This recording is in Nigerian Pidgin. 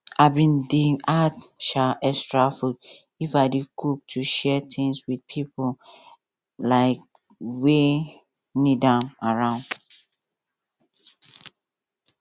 i bin dey add um extra food if i dey cook to share things with pipo um wey need am around